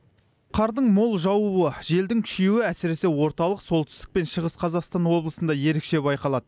қардың мол жаууы желдің күшейуі әсіресе орталық солтүстік пен шығыс қазақстан облысында ерекше байқалады